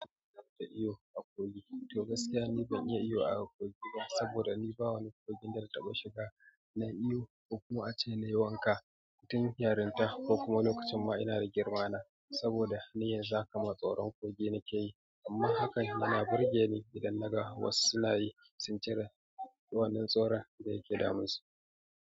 To gaskiya ni ban iya iyo a kogi ba, saboda ni ba wani kogin da na taɓa shiga na iyo, ko kuma a ce na yi wanka tun yarinta ko kuma lokacin ma ina da girma na, saboda ni yanzu haka ma tsoron kogi nake yi, amma hakan yana burge ni idan naga wasu suna yi, sun cire wannan tsoron da yake damun su.